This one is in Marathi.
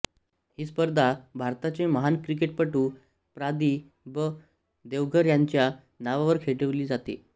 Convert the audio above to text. ही स्पर्धा भारताचे महान क्रिकेटपटू प्रा दि ब देवधर यांच्या नावावर खेळवली जाते